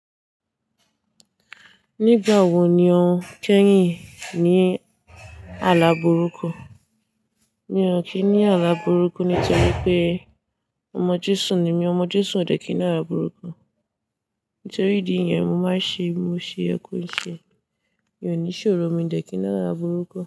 Nígbà wo ni o kẹ́yìn ní àlá burúkú? Mi ò kí n ní àlá burúkú nítorí pé ọmọ Jésù ni mí, ọmọ Jésù ò dẹ́ kìn ní àlá burúkú. Nítorí ìdí iyẹn, mo máa ń ṣe, mo ṣe ẹ kú ìṣẹ́. Mi ò ní ṣòro, mi ò dẹ́ kìn ní àlá burúkú.